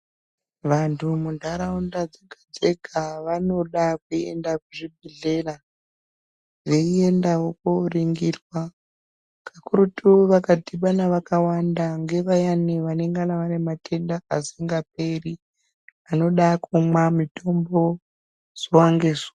Vantu muntaraunda dzega-dzega vanoda kuenda kuzvibhedhlera. Veiendavo koringirwa kakurutu vakadhibana vakawanda ngevayani vanengana vane mtenda asingaperi anoda kumwa mutombo zuva ngezuva.